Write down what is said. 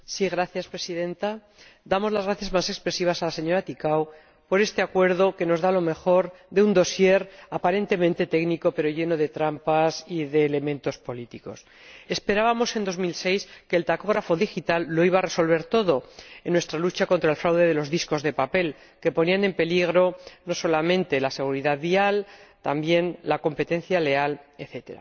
Señora Presidenta, damos las gracias más expresivas a la señora Ţicău por este acuerdo, que nos da lo mejor de un dossier aparentemente técnico pero lleno de trampas y de elementos políticos. Esperábamos en 2006 que el tacógrafo digital iba a resolver todo en nuestra lucha contra el fraude de los discos de papel, que ponían en peligro, no solamente la seguridad vial, sino también la competencia leal, etc.